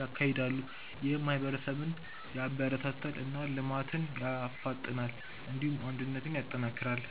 ያካሂዳሉ። ይህም ማህበረሰብን ያበረታታል እና ልማትን ያፋጥናል። እንዲሁም አንድነትን ያጠናክራል።